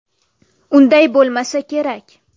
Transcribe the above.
Unday bo‘lmasa kerak.